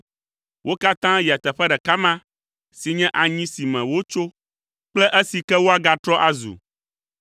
Wo katã yia teƒe ɖeka ma, si nye anyi si me wotso kple esi ke woagatrɔ azu,